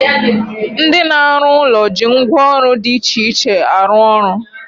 Ndị na-arụ ụlọ ji ngwa ọrụ dị iche iche arụ ọrụ.